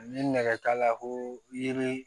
Ni nɛgɛ t'a la ko yiri